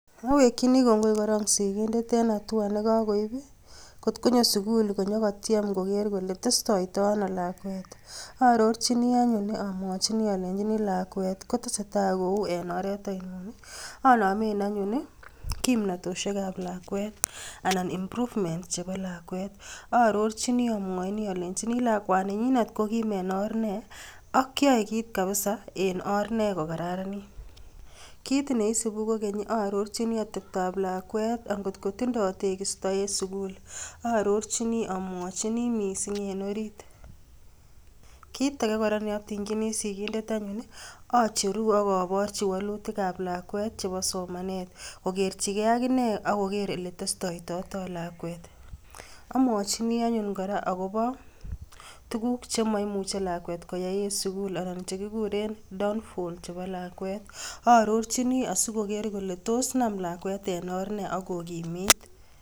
Awekchini kongoi kora sikindet eng hatua nekakoip kotkonyo sukul konyokotiem koker kole tesotoi ano lakwet aarorchini anyun amwachini alenjin lakwet kotesetai kou en oret anomen anyun kimnatoshiek ap lakwet ana improvement chebo lakwet aarorchini amwochini alenjini lakwani nyinet kokim en orr ne ak kiayei kit kapisa en orr ne kokararanit. Kit neisupi kokeny aarorchini ateptoap lakwet atkokotindoi tekisto en sukul aarorchini amwochini mising en orit kiit age kora neamwachini sikindet anyun acheru akoporchi walutik ap lakwet chebo somanet kokerchige akine akoker oletestoitoi lakwet. Amwaochini anyun kora akobo tuguk chemoimuchei lagwet koyai en sukul anan chekikuren downfall chebo lakwet, aarorchini asikoker kole tos nam lakwet en orr ne akokimit